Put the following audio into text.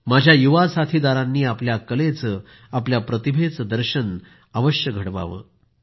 आमच्या युवा साथीदारांनी आपल्या कलेचं आपल्या प्रतिभेचं प्रदर्शन अवश्य करावं